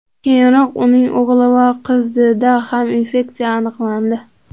Keyinroq uning o‘g‘li va qizida ham infeksiya aniqlandi .